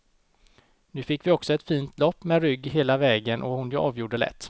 Nu fick vi också ett fint lopp med rygg hela vägen och hon avgjorde lätt.